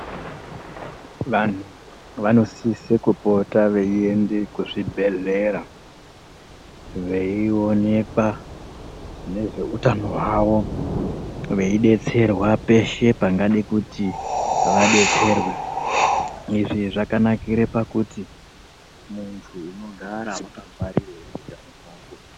Vantu vanosise kupota veyiyende kuzvibhedhlera veyiwonekwa nezveutano hwavo veyidetserwa zveshe zvingade kuti vadetserwe. Izvi zvakanakire pakuti muntu unogara wakangwarire utano hwako.